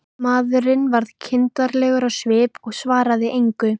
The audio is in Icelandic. Maðurinn varð kindarlegur á svip og svaraði engu.